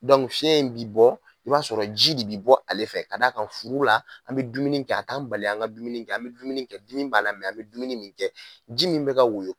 fiyɛn in bɛ bɔ i b'a sɔrɔ ji de bɛ bɔ ale fɛ ka d' a ka furu la an bɛ dumuni kɛ a t'an bali an ka dumuni kɛ an bɛ kɛ dumuni kɛ dimi b'a la an bɛ dumuni kɛ ji min bɛ ka woyo